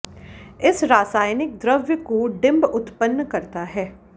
इस रासायनिक द्रव्य को डिंब उत्पन्न करता है